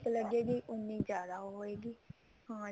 ਲੱਗੇ ਗੀ ਉੰਨੀ ਜਿਆਦਾ ਉਹ ਹੋਏਗੀ ਹਾਂ